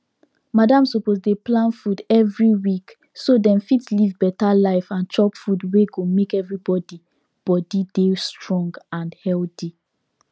madam suppose dey plan food every week so dem fit live better life and chop food wey go make everybody body dey strong and healthy